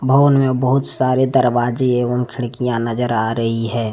भवन में बहुत सारे दरवाजे एवं खिड़कियां नजर आ रही है।